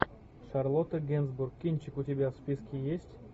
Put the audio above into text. шарлотта генсбур кинчик у тебя в списке есть